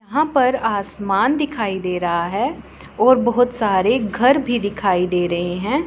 यहाँ पर आसमान दिखाई दे रहा है और बहोत सारे घर भी दिखई दे रहे है।